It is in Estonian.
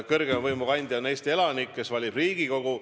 Kõrgeima võimu kandja on Eesti elanik, kes valib Riigikogu.